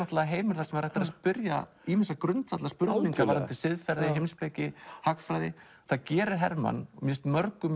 heimur þar sem hægt er að spyrja ýmissa grundvallarspurninga varðandi siðferði heimspeki hagfræði það gerir Hermann mér finnst mörgu